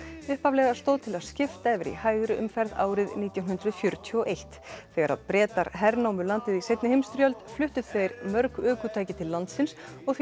upphaflega stóð til að skipta yfir í hægri umferð árið nítján hundruð fjörutíu og eitt þegar Bretar hernámu landið í seinni heimsstyrjöldinni fluttu þeir mörg ökutæki til landsins og því